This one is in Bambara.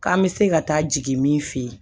K'an bɛ se ka taa jigin min fɛ yen